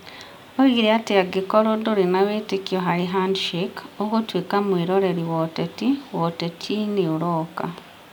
Oigire atĩ angĩkorũo ndũrĩ na wĩtĩkio harĩ 'handshake', ũgũtuĩka mweroreri wa ũteti wa ũteti-inĩ ũroka.